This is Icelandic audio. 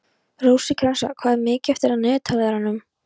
Rósinkransa, hvað er mikið eftir af niðurteljaranum?